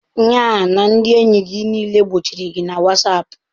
Nya ndị enyi gị niile gbochiri gị na whatsapp?